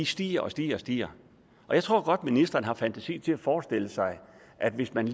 stiger og stiger stiger jeg tror godt ministeren har fantasi til at forestille sig at hvis man